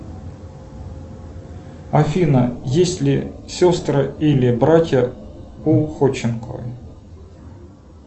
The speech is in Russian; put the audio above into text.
афина есть ли сестры или братья у ходченковой